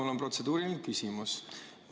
Mul on protseduuriline küsimus.